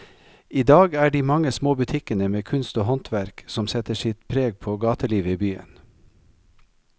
I dag er det de mange små butikkene med kunst og håndverk som setter sitt preg på gatelivet i byen.